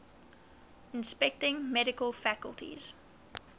inspecting medical facilities